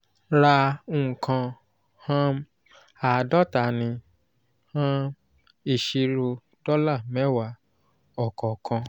ra nǹkán um àádọta ní um ìṣirò dọ́là mẹ́wàá ọ̀kọ̀ọ̀kan